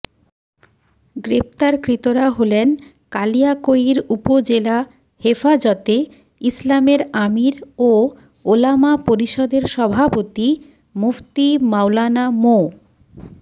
গ্রেপ্তারকৃতরা হলেন কালিয়াকৈর উপজেলা হেফাজতে ইসলামের আমির ও ওলামা পরিষদের সভাপতি মুফতি মাওলানা মো